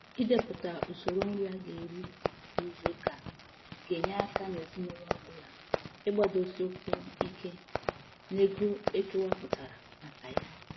Ịdepụta usoro nri a ga eri kwa izuuka ga enye aka n'ezinụlọ ọ bụla ịgbadosi ụkwụ ike n'ego ekewapụtara maka ya.